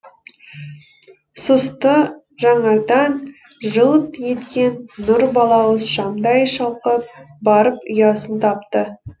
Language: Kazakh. сұсты жанардан жылт еткен нұр балауыз шамдай шалқып барып ұясын тапты